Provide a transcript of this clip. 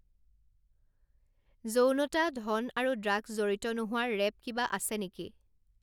যৌনতা, ধন আৰু ড্ৰাগছ জড়িত নোহোৱা ৰেপ কিবা আছে নেকি